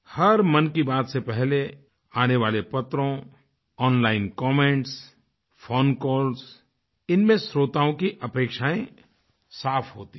हर मन की बात से पहले आने वाले पत्रों ओनलाइन कमेंट्स फोनकॉल्स इनमें श्रोताओं की अपेक्षाएँ साफ़ होती हैं